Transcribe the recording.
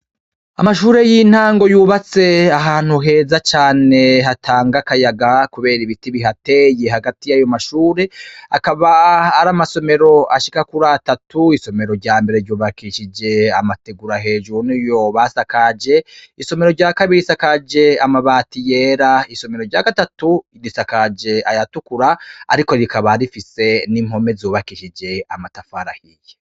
Amashure y'intango yubatse ahantu heza cane hatanga akayaga, kubera ibiti bihateye hagati y'ayo mashure, akaba ari amasomero ashika kuri atatu, isomero rya mbere ryubakishije amateguru hejuru niyo basakaje, isomero rya kabisa risakaje amabati yera, isomero rya gatatu risakaje ayatukura, ariko rikaba rifise n'impome zubakishije amatafari ahiye.